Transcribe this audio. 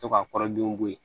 To ka kɔrɔden bɔ ye